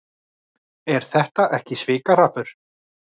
Er þetta ekki svikahrappur?